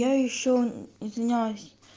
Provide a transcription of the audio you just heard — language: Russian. я ещё извиняюсь